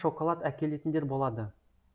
шоколад әкелетіндер болады